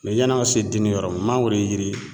yan'an ka se denni yɔrɔ mangoro yiri